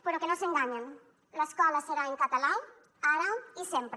però que no s’enganyen l’escola serà en català ara i sempre